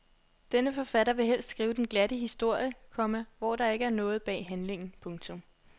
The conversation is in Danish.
Denne forfatter vil helst skrive den glatte historie, komma hvor der ikke er noget bag handlingen. punktum